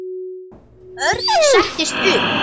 Örn settist upp.